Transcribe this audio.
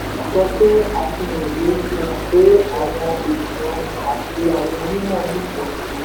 sọ pé àfihàn yìí fi hàn pé àwọn ènìyàn àti àwọn onímọ̀ nífẹ̀ẹ́ si.